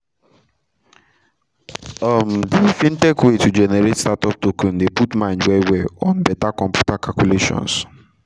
um d fintech way to generate startup token dey put mind well well on beta computer calculations.